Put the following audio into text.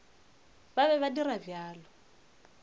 ba be ba dira bjalo